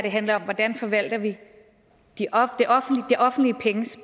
handler om hvordan vi forvalter det offentliges